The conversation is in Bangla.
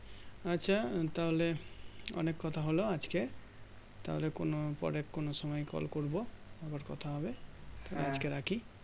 আচ্ছা তাহলে অনেক কথা হলো আজ কে তাহলে কোনো পরে কোনো সময় Call করবো আবার কথা হবে আজকে রাখি